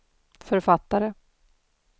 författare